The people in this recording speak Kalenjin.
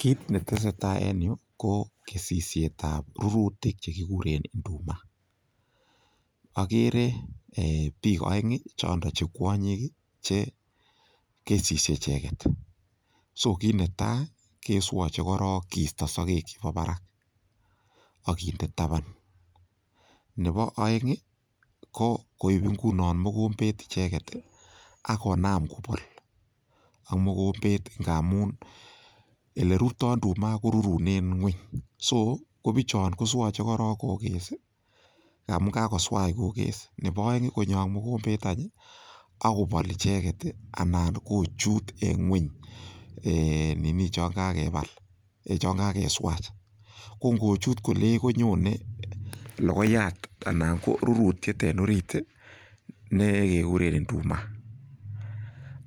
Kit ne tesetai en yu ko kesisietab rurutik chegiguren nduma. Agere ee biik aeng chondok che kwonyik ii che kesisie icheget. So kit netai keswache korok kiisto sogek chebo barak ak kinde taban. Nebo aeng ko koip inguno mogombet icheget ii ak konam kobol ak mogombet ingamun olerurto induma korurunen ngwony. Soo, kobichon koswache korok koges ii ngamun kagoswach koges. Neboaeng konyo ak mogombet any ak kobol icheget ii anan kochut eng ngweny ee nini chon kagebal, ee chon kageswach. Ko ngochut kolei konyonei logoiyat anan ko rurutiet en orit ne keguren induma.